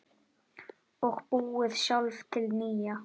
Og búið sjálf til nýja.